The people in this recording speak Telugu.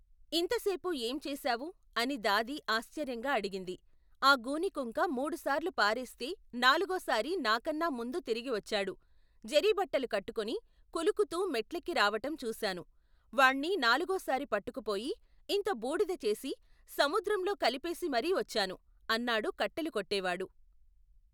ఇంతసేపు ఏంచేశావు? అని దాది ఆశ్చర్యంగా అడిగింది. ఆ గూనికుంక మూడుసార్లు పారేస్తే నాలుగోసారి నాకన్నా ముందు తిరిగివచ్చాడు. జరీబట్టలు కట్టుకుని కులుకుతూ మెట్లెక్కి రావటం చూశాను. వాణ్ణి నాలుగోసారి పట్టుకుపోయి, ఇంత బూడిదచేసి సముద్రంలో కలిపేసి మరీవచ్చాను, అన్నాడు కట్టెలు కొట్టేవాడు.